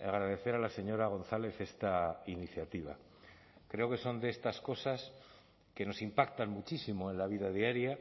agradecer a la señora gonzález esta iniciativa creo que son de estas cosas que nos impactan muchísimo en la vida diaria